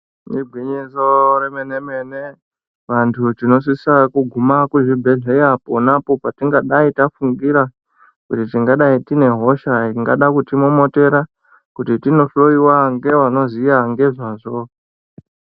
Igwinyiso remene mene vantu tinosisa kuguma kuzvibhedhlera ponapo patingadayi tafungira kuti tingadayi tine hosha ingada kutimomotera kuti tinohloyiwa ngeunoziya ngezvazvo.